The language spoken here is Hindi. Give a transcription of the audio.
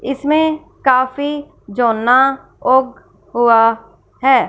इसमें काफी जो ना ओंख हुआ है।